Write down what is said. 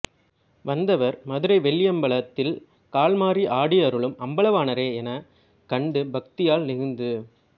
வந்தவர் மதுரை வெள்ளியம்பலத்தில் கால்மாறி ஆடியருளும் அம்பலவாணரே எனக் கண்டு பக்தியால் நெகிழ்ந்து